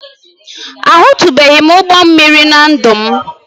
Ahụtụbeghị m ụgbọ mmiri na ndụ m